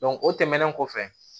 o tɛmɛnen kɔfɛ